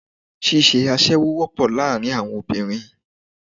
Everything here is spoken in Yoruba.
Ṣíṣe aṣẹ́wó wọ́pọ̀ láàárín àwọn obìnrin